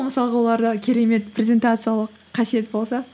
мысалға оларда керемет презентациялық қасиет болса